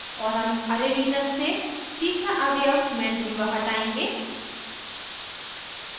और हम array Linux से तीसरा अवयव mandriva हटाएंगे